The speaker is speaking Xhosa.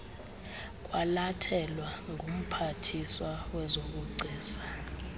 kwalathelwa ngumphathiswa wezobugcisa